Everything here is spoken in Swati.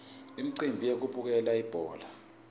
umcimbi wekubukela ibhola